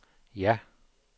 ja